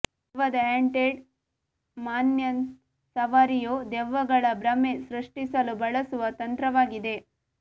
ದೆವ್ವದ haunted mansion ಸವಾರಿಯು ದೆವ್ವಗಳ ಭ್ರಮೆ ಸೃಷ್ಟಿಸಲು ಬಳಸುವ ತಂತ್ರವಾಗಿದೆ